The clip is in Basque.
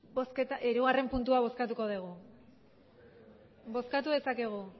hirugarren puntua bozkatuko dugu bozkatu dezakegu